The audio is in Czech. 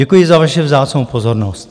Děkuji za vaše vzácnou pozornost.